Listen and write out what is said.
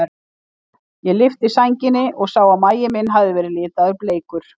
Ég lyfti sænginni og sá að magi minn hafði verið litaður bleikur.